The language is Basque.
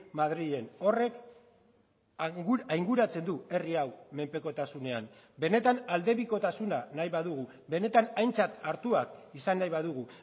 madrilen horrek ainguratzen du herri hau menpekotasunean benetan aldebikotasuna nahi badugu benetan aintzat hartuak izan nahi badugu